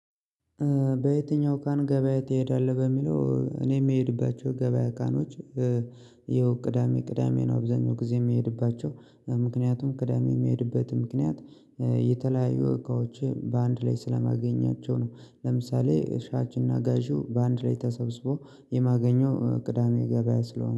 በየትኛው ቀን ገበያ ትሄዳለህ? በሚለው እኔ የምሄድባቸው ገበያ ቀኖች። ያው ቅዳሜ ቅዳሜ ነው አብዛኛው ጊዜ የሚሄድባቸው ምክንያቱም ቅዳሜ የሚሄድበት ምክንያት። የተለያዩ እቃዎቼ በአንድ ላይ ስለማገኛቸው ነው። ለምሳሌ ሻጭ እና ጋዢው በአንድ ላይ ተሰብስቦ የማገኘው ቅዳሜ ገበያ ስለሆነ